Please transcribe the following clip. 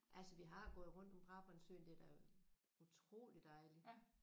Altså vi har gået rundt om Brabrandsøen det er da utroligt dejligt